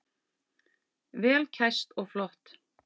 Vel kæst og flott.